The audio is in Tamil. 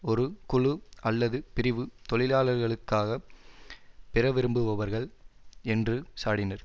ஒரு குழு அல்லது பிரிவு தொழிலாளர்களுக்காக பெறவிரும்புபவர்கள் என்று சாடினர்